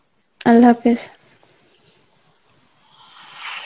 Arbi